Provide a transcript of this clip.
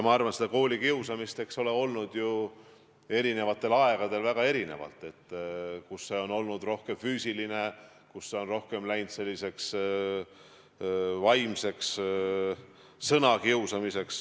Ma arvan, et koolikiusamist on erinevatel aegadel väga erinevat olnud – vahel on see olnud rohkem füüsiline, vahel rohkem vaimne, sõnadega kiusamine.